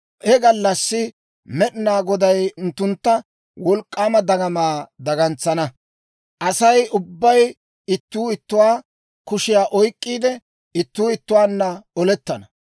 He gallassi Med'inaa Goday unttunttu wolk'k'aama dagamaa dagantsana; Asay ubbay ittuu ittuwaa kushiyaa oyk'k'iide, ittuu ittuwaanna olettana.